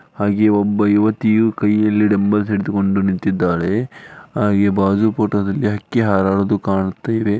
ಹಾಗೆ ಒಬ್ಬ ಯುವತಿಯು ಕೈಯಲ್ಲಿ ಡಂಬಲ್ಸ್ ಹಿಡಿದುಕೊಂಡು ನಿಂತಿದ್ದಾಳೆ ಆಹ್ ಬಾಜು ಫೋಟೋ ದಲ್ಲಿ ಹಕ್ಕಿ ಹಾರಾಡುವುದು ಕಾಣುತ್ತಾ ಇವೆ.